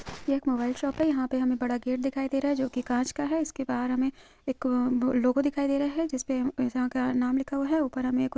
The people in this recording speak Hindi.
यह एक मोबाइल शॉप है। यहाँ पे हमें एक बड़ा गेट दिखाई दे रहा है जो कि कॉंच का है। इसके बाहर हमें एक अ लोगो दिखाई दे रहा है। जिसपे का नाम लिखा हुआ है ऊपर हमें कुछ--